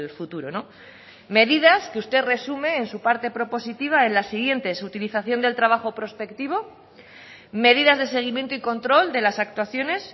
futuro medidas que usted resume en su parte propositiva en las siguientes utilización del trabajo prospectivo medidas de seguimiento y control de las actuaciones